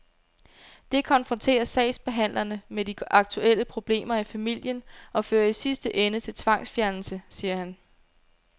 Det konfronterer sagsbehandlerne med de aktuelle problemer i familien og fører i sidste ende til tvangsfjernelse, siger han.